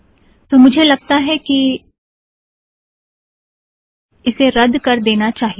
तो मुझे लगता है कि इसे रद्द कर देना चाहिए